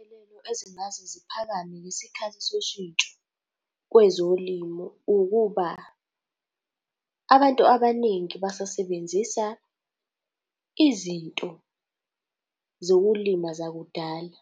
Izinselelo ezingase ziphakame ngesikhathi soshintsho kwezolimo ukuba, abantu abaningi basasebenzisa izinto zokulima zakudala.